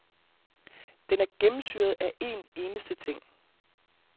Den er gennemsyret af en eneste ting.